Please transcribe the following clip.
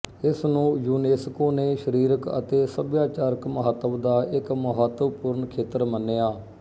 ਇਸਨੂੰ ਯੂਨੇਸਕੋ ਨੇ ਸਰੀਰਕ ਅਤੇ ਸਭਿਆਚਾਰਕ ਮਹੱਤਵ ਦਾ ਇੱਕ ਮਹਤਵਪੂਰਣ ਖੇਤਰ ਮੰਨਿਆ